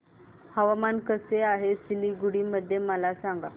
हवामान कसे आहे सिलीगुडी मध्ये मला सांगा